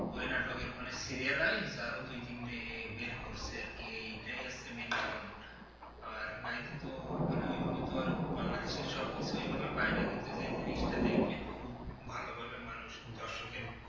ওই নাটকের মানে serial wise ধরো দু তিনটে বের করছে আরকি এইটাই হচ্ছে main কারণ আর মানে ওই বাংলাদেশের সবকিছু এইভাবে পায়না কিন্তু যেই জিনিসটা দেখছেন খুব ভালোভাবে মানুষ দর্শকের